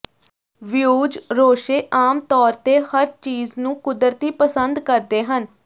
views ਰੋਸ਼ੇ ਆਮ ਤੌਰ ਤੇ ਹਰ ਚੀਜ਼ ਨੂੰ ਕੁਦਰਤੀ ਪਸੰਦ ਕਰਦੇ ਹਨ